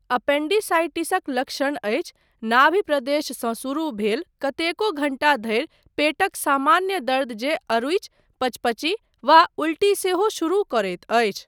एपेंडिसाइटिसक लक्षण अछि नाभि प्रदेशसँ शुरू भेल कतेको घण्टा धरि पेटक सामान्य दर्द जे अरुचि, पचपची वा उल्टी सेहो शुरू करैत अछि।